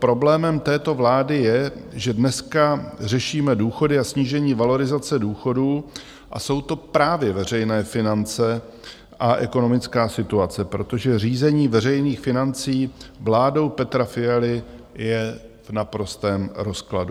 Problémem této vlády je, že dneska řešíme důchody a snížení valorizace důchodů, a jsou to právě veřejné finance a ekonomická situace, protože řízení veřejných financí vládou Petra Fialy je v naprostém rozkladu.